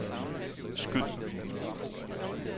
skyd